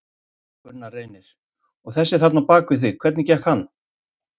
Gunnar Reynir: Og þessi þarna bak við þig, hvernig gekk hann?